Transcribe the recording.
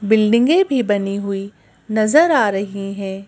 बिल्डिंगें भी बनी हुई नजर आ रही हैं।